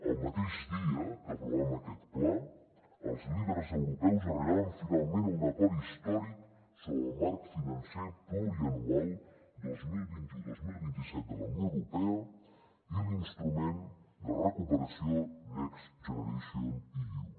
el mateix dia que aprovàvem aquest pla els líders europeus arribaven finalment a un acord històric sobre el marc financer plurianual dos mil vint u dos mil vint set de la unió europea i l’instrument de recuperació next generation eu